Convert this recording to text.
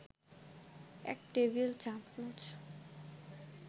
১ টেবিল-চামচ